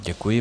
Děkuji.